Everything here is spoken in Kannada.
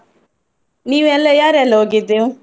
ನೀವೆಲ್ಲ ಯಾರೆಲ್ಲಾ ಹೋಗಿದ್ದು?